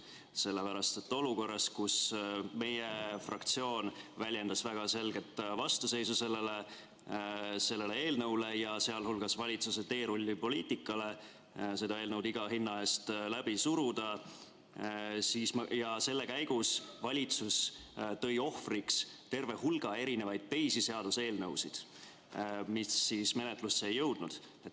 Seda sellepärast, et olukorras, kus meie fraktsioon väljendas väga selget vastuseisu sellele eelnõule ja valitsuse teerullipoliitikale see eelnõu iga hinna eest läbi suruda, selle käigus tõi valitsus ohvriks terve hulga teisi seaduseelnõusid, mis menetlusse ei jõudnudki.